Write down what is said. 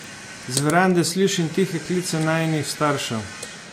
Z verande slišim tihe klice najinih staršev.